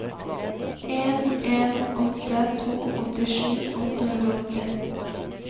en en åtte to åttisju åtte hundre og åtti